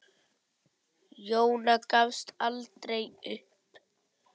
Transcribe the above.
Jóna gafst aldrei upp.